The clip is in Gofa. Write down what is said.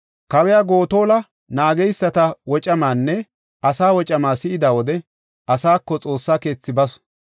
Kawiya Gotola naageysata wocamaanne asaa wocamaa si7ida wode, asaako Xoossa keethi basu.